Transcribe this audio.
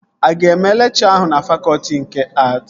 Aga eme lekchọ ahụ na fakọtị nke att?